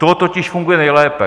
To totiž funguje nejlépe.